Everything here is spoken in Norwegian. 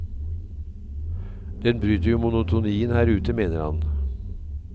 Den bryter jo monotonien her ute, mener han.